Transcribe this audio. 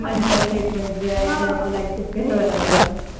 accept करावं लागत